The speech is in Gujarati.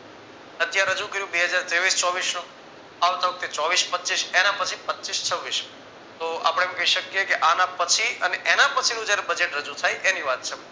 અત્યારે રજુ કર્યું બે તેવીસ ચોવીસ આવતા વખતે ચોવીસ પચીસ એના પછી પચીસ છવ્વીસ તો આપણે એમ કહી શકીએ કે આના પછી અને એના પછીનું જયારે badget જયારે રજુ થાય એની વાત છે.